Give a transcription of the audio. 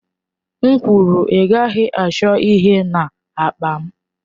M kwuru, ị gaghị achọ ihe n'akpa m!